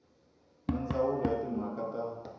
na ndzawulo ya timhaka ta